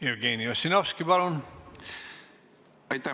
Jevgeni Ossinovski, palun!